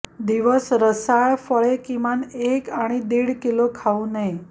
दिवस रसाळ फळे किमान एक आणि दीड किलो खाऊ नये